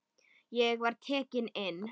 Ég var tekinn inn.